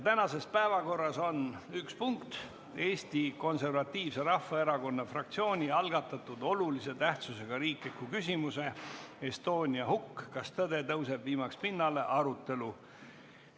Tänases päevakorras on üks punkt: Eesti Konservatiivse Rahvaerakonna fraktsiooni algatatud olulise tähtsusega riikliku küsimuse "Estonia hukk – kas tõde tõuseb viimaks pinnale?" arutelu.